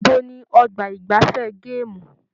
Ibo ní ọgbà igbafẹ̀ gaamu?